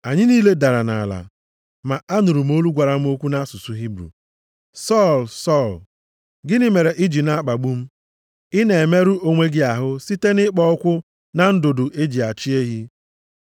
Anyị niile dara nʼala. Ma anụrụ m olu gwara m okwu nʼasụsụ Hibru, ‘Sọl! Sọl! Gịnị mere i ji na-akpagbu m? Ị na-emerụ onwe gị ahụ site nʼịkpọ ụkwụ na ndụdụ e ji achị ehi.’